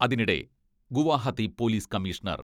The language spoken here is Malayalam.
അതിനിടെ, ഗുവഹാത്തി പോലിസ് കമ്മീഷണർ